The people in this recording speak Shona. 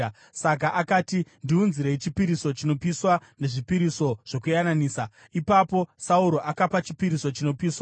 Saka akati, “Ndiunzirei chipiriso chinopiswa nezvipiriso zvokuyananisa.” Ipapo Sauro akapa chipiriso chinopiswa.